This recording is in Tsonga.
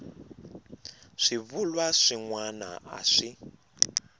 swivulwa swin wana a swi